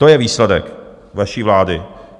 To je výsledek vaší vlády.